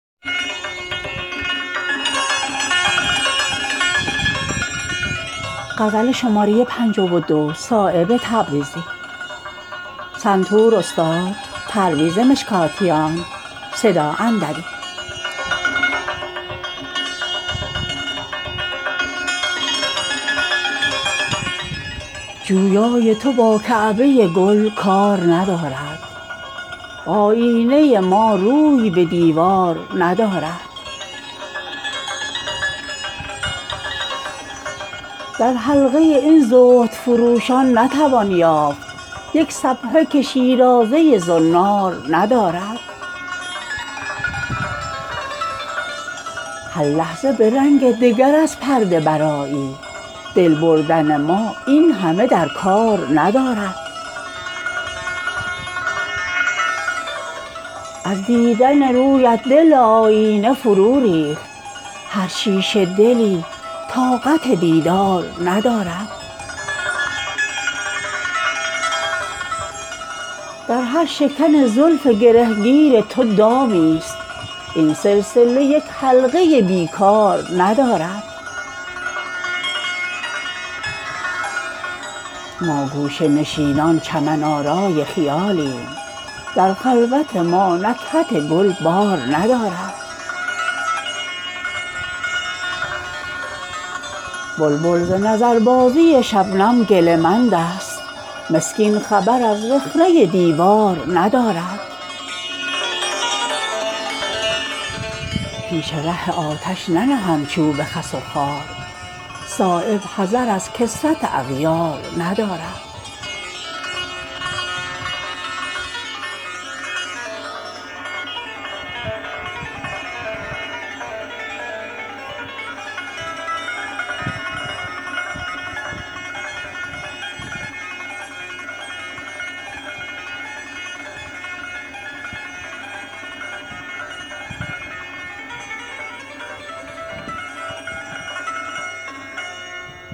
دل طاقت حیرانی دیدار ندارد آیینه ما جوهر این کار ندارد گل می کند از رنگ پریشانی خاطر حاجت به تنک ظرفی اظهار ندارد تا چند به مویی دلم آویخته باشد واپس ده اگر زلف تو در کار ندارد واعظ چه شوی گرم لب بی نمک تو تبخاله ای از گرمی گفتار ندارد مشکل که گشاید گره از رشته کارم ابروی تو پیشانی این کار ندارد آغوش مرا محرم آن خرمن گل کن موی کمرت طاقت این بار ندارد کاری است به دل ناخن الماس شکستن هر بیجگری دست درین کار ندارد ای شاخ گل از دور چه آغوش گشایی گل رنگی از آن گوشه دستار ندارد یک ذره وفا را به دوعالم نفروشیم هرچند درین عهد خریدار ندارد بی حوصله ای را که بود شیشه متاعش آن که به آتش نفسان کار ندارد صایب به جگر شعله زند ناله گرمت آتش نفسی مثل تو گلزار ندارد